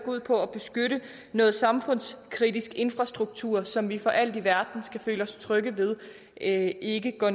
ud på at beskytte noget samfundskritisk infrastruktur som vi for alt i verden skal føle os trygge ved ikke ikke går